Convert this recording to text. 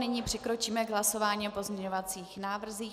Nyní přikročíme k hlasování o pozměňovacích návrzích.